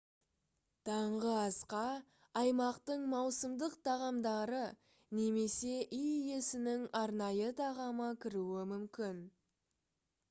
таңғы асқа аймақтың маусымдық тағамдары немесе үй иесінің арнайы тағамы кіруі мүмкін